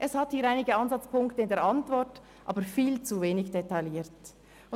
Es gibt einige Ansatzpunkte in der Antwort, die aber viel zu wenig detailliert sind.